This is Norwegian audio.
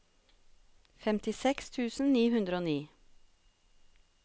femtiseks tusen ni hundre og ni